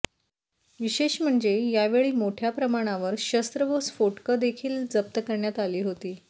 विशेष म्हणजे यावेळी मोठ्याप्रमाणावर शस्त्र व स्फोटकं देखील जप्त करण्यात आली होती